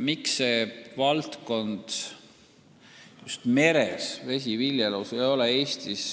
Miks vesiviljelus meres ei ole Eestis